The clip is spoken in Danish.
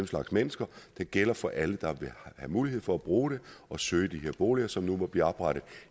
slags mennesker den gælder for alle der vil have mulighed for at bruge den og søge de her boliger som nu måtte blive oprettet